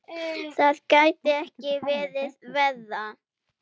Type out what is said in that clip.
Það gæti ekki verið verra.